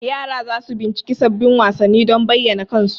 yara za su bincika sabbin wasanni don bayyana kansu.